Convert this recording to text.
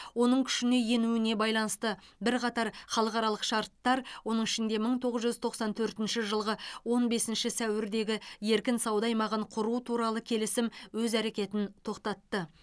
оның күшіне енуіне байланысты бірқатар халықаралық шарттар оның ішінде мың тоғыз жүз тоқсан төртінші жылғы он бесінші сәуірдегі еркін сауда аймағын құру туралы келісім өз әрекетін тоқтатты